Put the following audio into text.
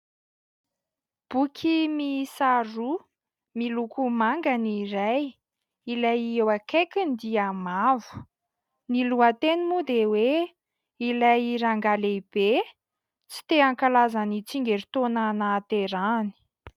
Boky miisa roa miloko manga ny iray ilay eo akaikiny dia mavo, ny lohateniny moa dia hoe: "Ilay rangahy lehibe tsy te hankalaza ny tsingerintaona nahaterahany".